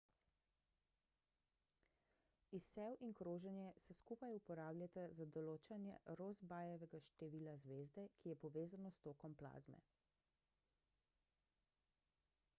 izsev in kroženje se skupaj uporabljata za določanje rossbyjevega števila zvezde ki je povezano s tokom plazme